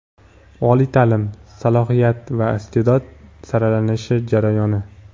Oliy taʼlim: salohiyat va isteʼdod saralanish jarayoni.